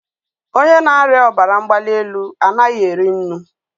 onye na-arịa ọbara mgbali elu anaghị eri nnu.